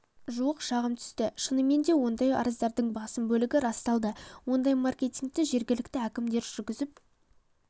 жуық шағым түсті шынымен де ондай арыздардың басым бөлігі расталады ондай маркетингті жергілікті әкімдіктер жүргізіп